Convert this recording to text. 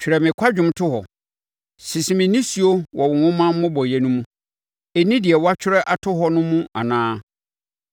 Twerɛ me kwadwom to hɔ; sese me nisuo wɔ wo nwoma mmobɔeɛ no mu. Ɛnni deɛ woatwerɛ ato hɔ no mu anaa?